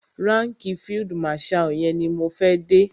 Ránkìì field marshal yẹn ni mo fẹ́ dé.